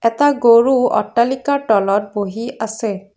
এটা গৰু অট্টালিকাৰ তলত বহি আছে।